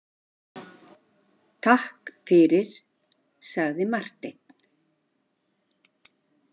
Takk fyrir, sagði Marteinn.